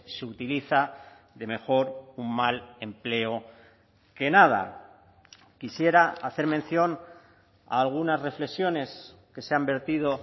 se utiliza de mejor un mal empleo que nada quisiera hacer mención a algunas reflexiones que se han vertido